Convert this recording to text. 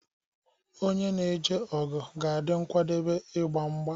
Onye na-eje ọgụ ga-adị nkwadebe igba mgba.